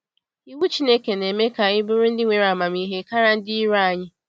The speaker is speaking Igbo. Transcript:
Iwu Chineke na-eme ka anyị bụrụ ndị nwere amamihe karịa ndị iro anyị.